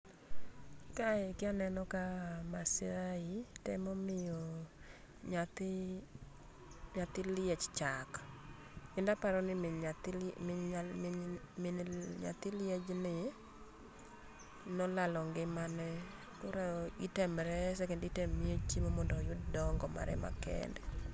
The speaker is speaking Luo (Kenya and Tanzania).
Kae kia aneno Maasai temo miyo nyathi ,nyathi liech chak. Kendo aparoni min nyathini, min, min, min nyathi liej ni nolalo ngimane koro item rese kendo item miye chiemo mondo oyud dongo mare ma kende